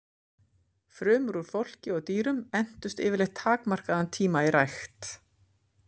Frumur úr fólki og dýrum entust yfirleitt takmarkaðan tíma í rækt.